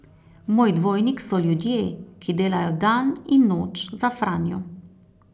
Moj dvojnik so ljudje, ki delajo dan in noč za Franjo.